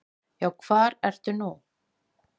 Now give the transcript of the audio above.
Já, hvar ertu nú?